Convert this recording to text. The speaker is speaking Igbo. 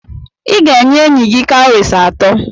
Ị ga-enye enyi gị cowries atọ.